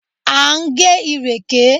À ń gé ìrèké.